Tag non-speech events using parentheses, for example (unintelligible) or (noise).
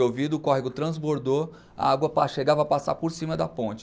Chovido, o córrego transbordou, a água (unintelligible) chegava a passar por cima da ponte.